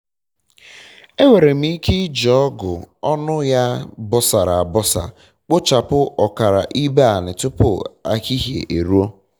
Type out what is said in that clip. enwere m ike iji ọgụ ọnụ ya ya bọsara abọsa kpochapụ ọkara ibe ala tụpụ ehihie e ruo